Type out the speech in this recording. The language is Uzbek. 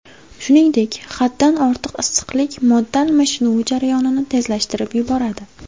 Shuningdek, haddan ortiq issiqlik modda almashinuvi jarayonini tezlashtirib yuboradi.